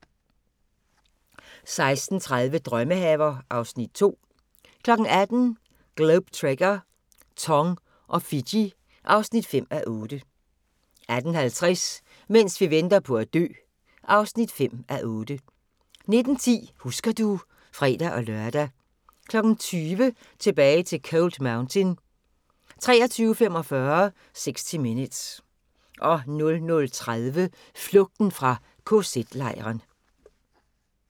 16:30: Drømmehaver (Afs. 2) 18:00: Globe Trekker - Tong og Fiji (5:8) 18:50: Mens vi venter på at dø (5:8) 19:10: Husker du ... (fre-lør) 20:00: Tilbage til Cold Mountain 23:45: 60 Minutes 00:30: Flugten fra kz-lejren